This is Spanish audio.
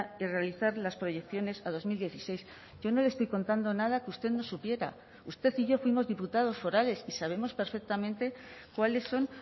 y realizar las proyecciones a dos mil dieciséis yo no le estoy contando nada que usted no supiera usted y yo fuimos diputados forales y sabemos perfectamente cuáles son